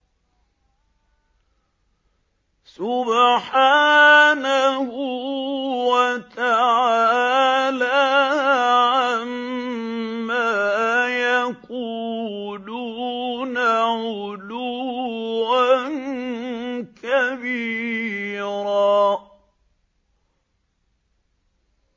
سُبْحَانَهُ وَتَعَالَىٰ عَمَّا يَقُولُونَ عُلُوًّا كَبِيرًا